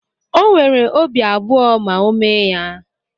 O nwere obi abụọ ma o mee ya.